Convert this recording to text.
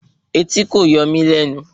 Etí kò yọ mí lẹ́nu